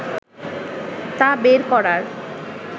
তা বের করার